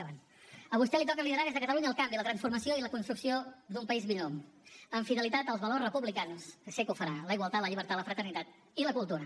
vaig acabant a vostè li toca liderar des de catalunya el canvi la transformació i la construcció d’un país millor amb fidelitat als valors republicans que sé que ho farà la igualtat la llibertat la fraternitat i la cultura